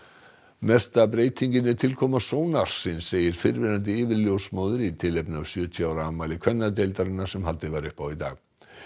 mesta breytingin er tilkoma segir fyrrverandi í tilefni af sjötíu ára afmæli kvennadeildarinnar sem haldið var upp á í dag